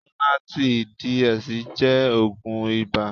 Lonarti DS jẹ́ oògùn ibà.